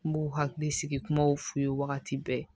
N b'u hakili sigi kumaw f'u ye wagati bɛɛ